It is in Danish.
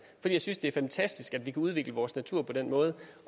jeg synes det er fantastisk at vi kan udvikle vores natur på den måde